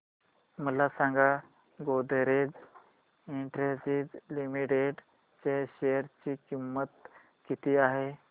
मला सांगा Godrej industries limited च्या शेअर ची किंमत किती आहे